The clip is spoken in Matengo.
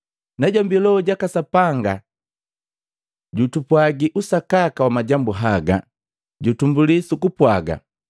Najombi Loho jaka Sapanga jutupwagi usakaka wa majambu haga. Jutumbuli su kupwaga: